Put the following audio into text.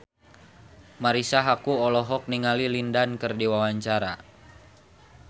Marisa Haque olohok ningali Lin Dan keur diwawancara